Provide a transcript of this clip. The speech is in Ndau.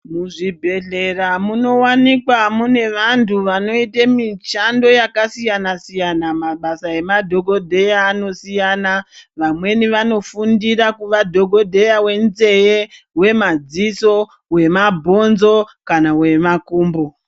Muzvibhedhlera munowanikwa mune vantu vanoite mishando yakasiyana siyana, mabasa emadhokodheya anosiyana, vamweni vanofundira kuva dhokodheya wenzeve, wemadziso, wemabhonzo kana wemakumbo.